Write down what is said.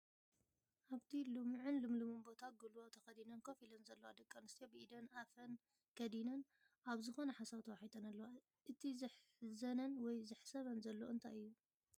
ኣብቲ ልሙዕን ልምሉምን ቦታ ጉልባብ ተኸዲነን ኮፍ ኢለን ዘለዋ ደቂ ኣነስትዮ ብኢደን ኣፈን ከዲነን ኣብ ዝኾነ ሓሳብ ተዋሒጠን ኣለዋ፡፡ እቲ ዘሕዘነን ወይ ዘሕስበን ዘሎ እንታይ እዩ?